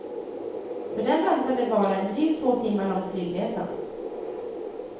För dem väntade bara en drygt två timmar lång flygresa.